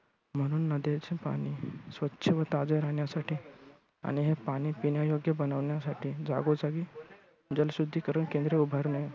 म्हणून नद्यांचे पाणी स्वच्छ व ताजे रहाण्यासाठी आणि हे पाणी पिण्यायोग्य बनवण्यासाठी जागोजागी जल शुद्धीकरण केंद्रे उभारणे.